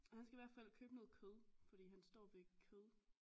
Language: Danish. Og han skal i hvert fald købe noget kød fordi han står ved kød